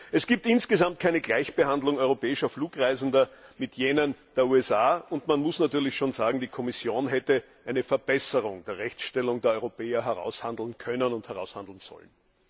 Es gibt insgesamt keine Gleichbehandlung europäischer Flugreisender mit jenen der USA, und man muss natürlich schon sagen, dass die Kommission eine Verbesserung der Rechtstellung der Europäer hätte aushandeln können und sollen.